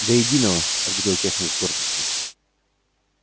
до единого ответил техник с гордостью